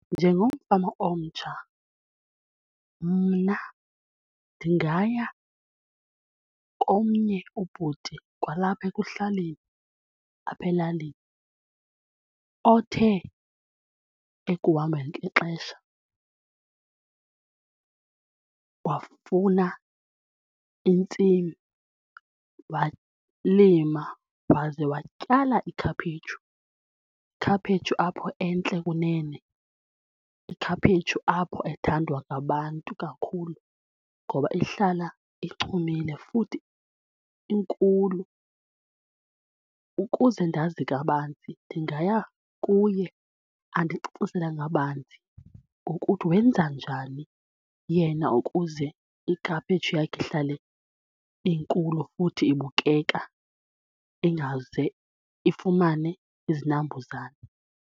Njengomfama omtsha mna ndingaya komnye ubhuti kwalapha ekuhlaleni apha elalini othe ekuhambeni kwexesha wafuna intsimi walima waze watyala ikhaphetshu, ikhaphetshu apho entle kunene, ikhaphetshu apho ethandwa ngabantu kakhulu ngoba ihlala ichumile futhi inkulu ukuze ndazi kabanzi ndingaya kuye andicacisele ngabanzi ngokuthi wenza njani yena ukuze ikhaphetshu yakhe ihlale inkulu futhi ibukeka ingaze ifumane izinambuzane.